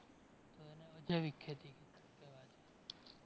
તો એને અજૈવિક ખેતી કહેવાય